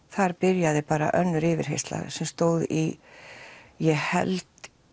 þar byrjaði bara önnur yfirheyrsla sem stóð í ég held